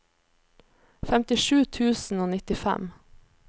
femtisju tusen og nittifem